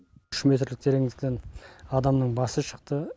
үш метрлік тереңдіктен адамның басы шықты